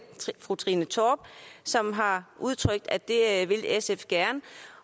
fru trine torp som har udtrykt at det vil sf gerne